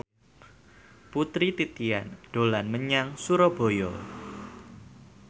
Putri Titian dolan menyang Surabaya